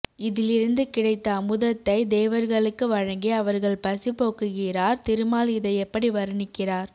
இதிலி ருந்து கிடைத்த அமுதத்தைத் தேவர்களுக்கு வழங்கி அவர் கள் பசி போக்குகிறார் திருமால் இதை எப்படி வருணிக்கிறார்